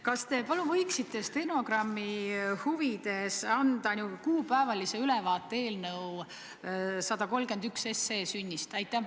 Kas te palun võiksite stenogrammi huvides anda kuupäevalise ülevaate eelnõu 131 sünnist?